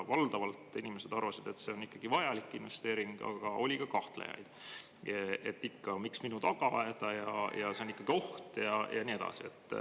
Valdavalt inimesed arvasid, et see on ikkagi vajalik investeering, aga oli kahtlejaid – miks minu tagaaeda, see on ikkagi oht, ja nii edasi.